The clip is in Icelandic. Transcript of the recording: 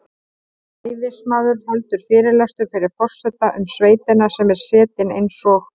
Ræðismaður heldur fyrirlestur fyrir forseta um sveitina sem er setin eins og